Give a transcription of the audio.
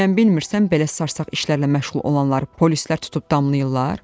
Bəyəm bilmirsən belə sarsaq işlərlə məşğul olanları polislər tutub damlayırlar?